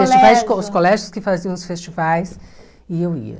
Os os colégios que faziam os festivais e eu ia.